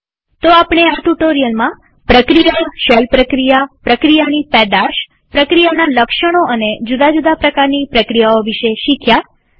તો આપણે આ ટ્યુ્ટોરીઅલમાં પ્રક્રિયાશેલ પ્રક્રિયાપ્રક્રિયાની પેદાશપ્રક્રિયાના લક્ષણો અને જુદા જુદા પ્રકારની પ્રક્રિયાઓ વિશે શીખ્યા